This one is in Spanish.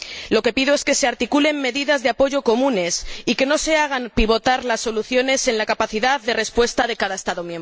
Lo que pido es que se articulen medidas de apoyo comunes y que no se hagan pivotar las soluciones en la capacidad de respuesta de cada Estado miembro.